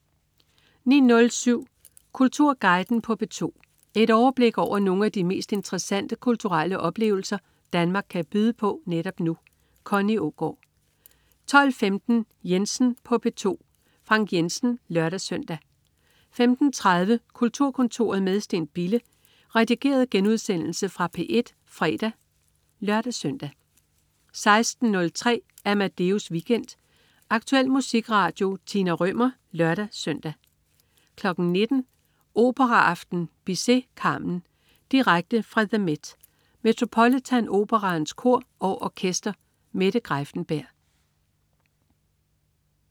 09.07 Kulturguiden på P2. Et overblik over nogle af de mest interessante kulturelle oplevelser Danmark kan byde på netop nu. Connie Aagaard 12.15 Jensen på P2. Frank Jensen (lør-søn) 15.30 Kulturkontoret med Steen Bille. Redigeret genudsendelse fra P1 fredag (lør-søn) 16.03 Amadeus Weekend. Aktuel musikradio. Tina Rømer (lør-søn) 19.00 Operaaften. Bizet: Carmen. Direkte fra The MET. Metropolitan Operaens Kor og Orkester. Mette Greiffenberg